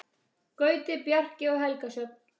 Gauti, Bjarki og Helga Sjöfn.